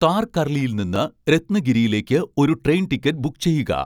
താർകർളിയിൽ നിന്ന് രത്നഗിരിയിലേക്ക് ഒരു ട്രെയിൻ ടിക്കറ്റ് ബുക്ക് ചെയ്യുക